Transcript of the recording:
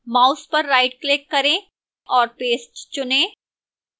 mouse पर rightclick करें और paste चुनें